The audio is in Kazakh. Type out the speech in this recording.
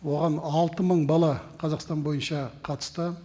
оған алты мың бала қазақстан бойынша қатысты